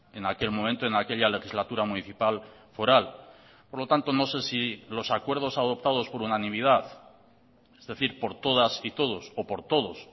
en aquel momento en aquella legislatura municipal foral por lo tanto no sé si los acuerdos adoptados por unanimidad es decir por todas y todos o por todos